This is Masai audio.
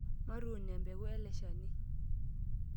Matuun empeku ele shani.